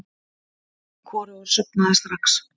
En hvorugur sofnaði strax.